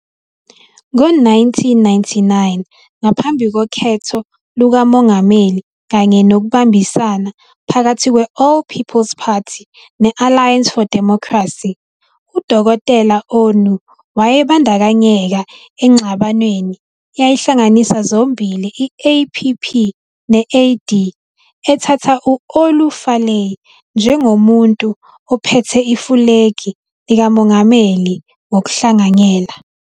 Ngo-1999, ngaphambi kokhetho lukaMongameli kanye nokubambisana phakathi kwe- All People's Party ne- Alliance for Democracy, uDkt Onu wayebandakanyeka engxabanweni eyayihlanganisa zombili i-APP - AD ethatha u- Olu Falae njengomuntu ophethe ifulegi likamongameli ngokuhlanganyela.